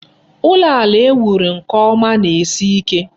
Ụlọ ala e wuru nke ọma na-esi ike.